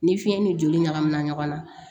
Ni fiɲɛ ni joli ɲagami na ɲɔgɔn na